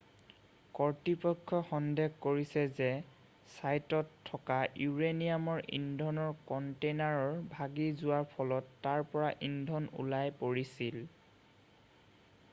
কৰ্তৃপক্ষই সন্দেহ কৰিছে যে ছাইটত থকা ইউৰেনিয়াম ইন্ধনৰ কণ্টেইনাৰ ভাগি যোৱাৰ ফলত তাৰ পৰা ইন্ধন ওলাই পৰিছিল